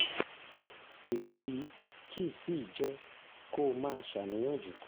èyí kì í sì í jẹ́ kó máa ṣàníyàn jù